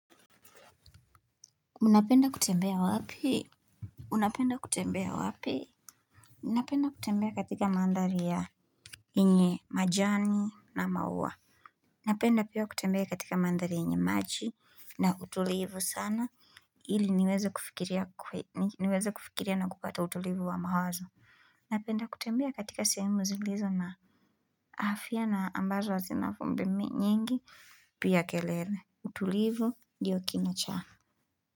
Unapenda kutembea wapi? Unapenda kutembea wapi? Unapenda kutembea katika mandharia. Yenye majani na maua. Napenda pia kutembea katika mandhari yenye maji na utulivu sana. Ili niweza kufikiria na kupata utulivu wa mahozo. Napenda kutembea katika sehemu zilizo na. Afya na ambazo hazina vumbi nyingi pia kelele utulivu ndio kinacha.